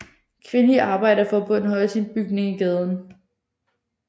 Kvindeligt Arbejderforbund har også en bygning i gaden